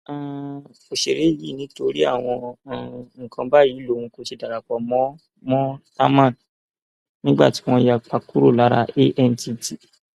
um òṣèré yìí ni nítorí àwọn um nǹkan báyìí lòun kò ṣe darapọ mọ mọ támán nígbà tí wọn yapa kúrò lára antt